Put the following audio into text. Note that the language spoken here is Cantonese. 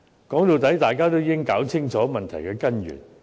說到底，大家應弄清楚問題的根源。